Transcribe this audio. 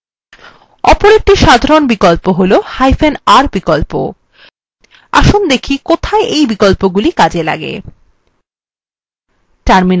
অপর একটি সাধারণ বিকল্প হলr বিকল্প আসুন দেখি কোথায় এই বিকল্পগুলি কাজে লাগে